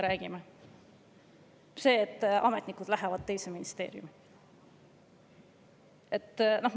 " See, et ametnikud lähevad teise ministeeriumi!